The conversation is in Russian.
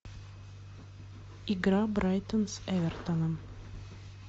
игра брайтон с эвертоном